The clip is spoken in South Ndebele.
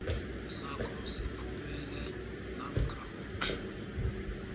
sakho siphumelele namkha